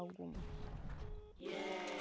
Algumas.